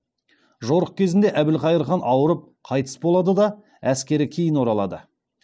жорық кезінде әбілхайыр хан ауырып қайтыс болады да әскері кейін оралады